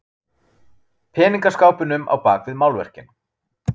Peningaskápunum á bak við málverkin.